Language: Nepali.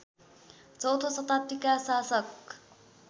चौथो शताब्दीका शासक